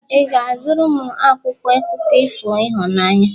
ị ga-azụrụ m akwụkwọ akụkọ ifo ịhụnanya?